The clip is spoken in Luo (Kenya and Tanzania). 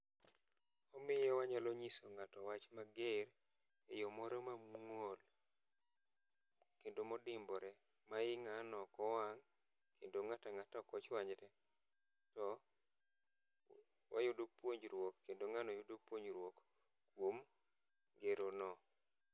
Omiyo wanyalo nyiso ng'ato wach mager e yoo moro mamuol kendo modimbore ma i ng'ano ok wang' kendo ng'at ang'ata ok ochwanyre to wayudo puonjruk kendo ng'ano yudo puonjruok kuom gero no.